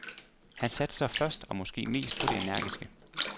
Han satser først og måske mest på det energiske.